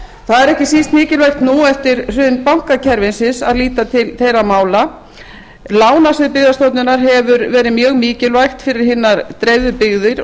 það er ekki síst mikilvægt nú eftir hrun bankakerfisins að líta til þeirra mála lánasvið byggðastofnunar hefur verið mjög mikilvægt fyrir hinar dreifðu byggðir og